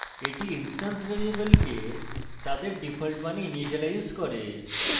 এটি instance ভ্যারিয়েবলকে তাদের ডিফল্ট মানে ইনিসিয়েলাইজ করে